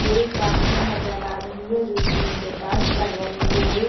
कोई एक डान्सर नजर आ रही है जो स्टेज पे डास कर रही है।